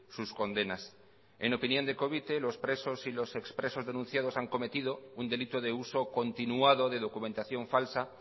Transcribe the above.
sus condenas en opinión de covite los presos y los ex presos denunciados han cometido un delito de uso continuado de documentación falsa